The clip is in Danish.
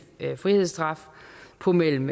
frihedsstraf på mellem